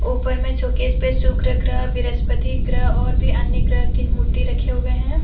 ऊपर में शोकेस पे शुक्र ग्रह बृहस्पति ग्रह और भी अन्य ग्रह की मूर्ति रखे हुए हैं।